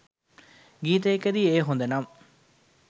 ගීතයකදී එය හොඳ නම්